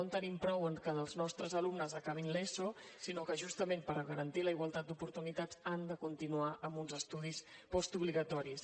no en tenim prou amb que els nostres alumnes acabin l’eso sinó que justament per garantir la igualtat d’oportunitats han de continuar amb uns estudis postobligatoris